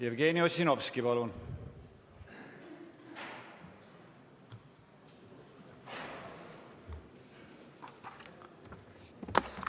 Jevgeni Ossinovski, palun!